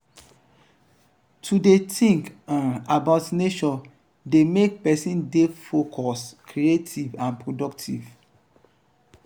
to de think um about nature de make persin de focus creative and productive